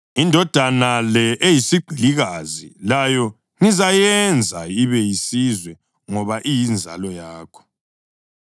Indodana le eyesigqilikazi layo ngizayenza ibe yisizwe ngoba iyinzalo yakho.”